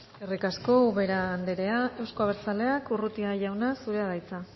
eskerrik asko ubera anderea euzko abertzaleak urrutia jauna zurea da hitza